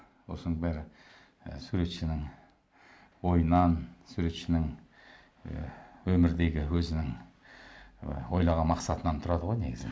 осының бәрі і суретшінің ойынан суретшінің і өмірдегі өзінің і ойлаған мақсатынан тұрады ғой негізі